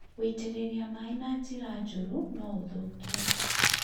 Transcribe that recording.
gũitĩrĩria maĩ na njĩra njũru no ũthũkie